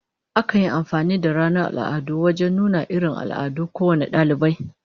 Akan yi amfani da ranar al'adu wajen nuna irin al'adun kowane dalibai